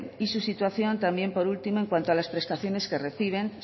y su situación también por último en cuanto a las prestaciones que reciben